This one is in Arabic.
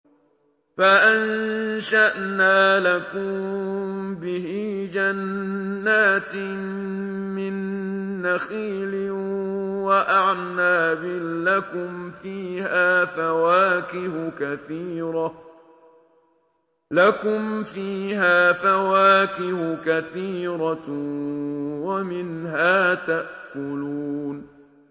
فَأَنشَأْنَا لَكُم بِهِ جَنَّاتٍ مِّن نَّخِيلٍ وَأَعْنَابٍ لَّكُمْ فِيهَا فَوَاكِهُ كَثِيرَةٌ وَمِنْهَا تَأْكُلُونَ